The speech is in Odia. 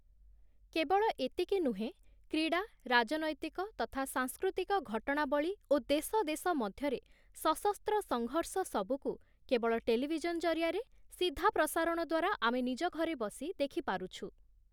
କେବଳ ଏତିକି ନୁହେଁ କ୍ରୀଡ଼ା, ରାଜନୈତିକ ତଥା ସାଂସ୍କୃତିକ ଘଟଣାବଳୀ ଓ ଦେଶଦେଶ ମଧ୍ୟରେ ସଶସ୍ତ୍ର ସଂଘର୍ଷ ସବୁକୁ କେବଳ ଟେଲିଭିଜନ ଜରିଆରେ ସିଧାପ୍ରସାରଣ ଦ୍ଵାରା ଆମେ ନିଜ ଘରେ ବସି ଦେଖିପାରୁଛୁ ।